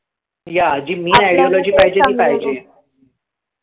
yeah जी new ideology पाहिजे ती पाहिजे